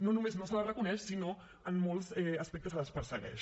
no només no se les reconeix sinó en molts aspectes se les persegueix